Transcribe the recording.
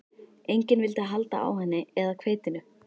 Enginn vildi halda á henni eða hveitinu.